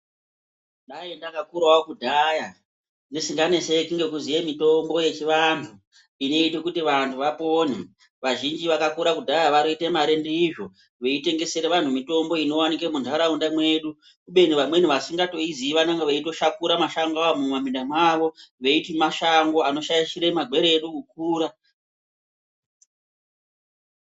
Dai ndakakurawo kudhaya ndisikanetseki, ngekuziye mitombo yechivanhu inoite kuti vanhu vapone, vazhinji vakakura kudhaya vanoita mare ndizvo veitengesere vanhu mitombo inowanike munharaunda mwedu, kubeni vamweni vasikatoiziyi vanonga veitoshakura mashongo, aya mumaminda mwawo veiti mashango, anoshaisghire magwere edu kukura.